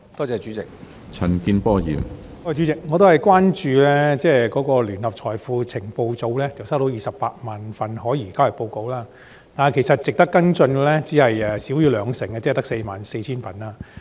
主席，我同樣關注到，聯合財富情報組接獲的可疑交易報告有280000宗，但當中值得跟進的不足兩成，即44000宗。